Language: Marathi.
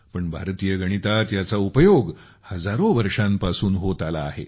पण भारतीय गणितात ह्याचा उपयोग हजारो वर्षांपासून होत आला आहे